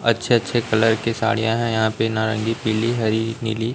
अच्छे अच्छे कलर की साड़ियां हैं यहां पे नारंगी पीली हरी नीली।